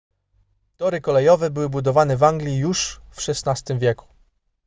tory kolejowe były budowane w anglii już w xvi wieku